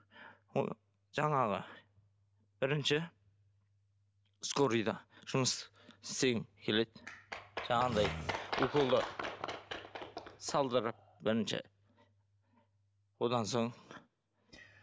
жаңағы бірінші скорыйда жұмыс істегім келеді жаңағындай уколды салдырып бірінші одан соң